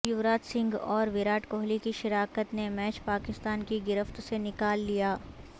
یوراج سنگھ اور وراٹ کوہلی کی شراکت نے میچ پاکستان کی گرفت سے نکال لیا